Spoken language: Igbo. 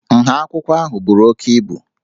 Nha akwụkwọ ahụ buru oke ibu